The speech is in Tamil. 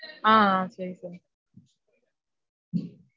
ஆஹ் ஆஹ் சேரி sir